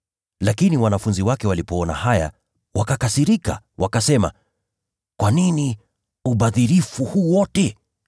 Lakini wanafunzi wake walipoona hayo wakakasirika, wakasema, “Upotevu huu wote ni wa nini?